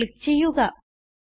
save click ചെയ്യുക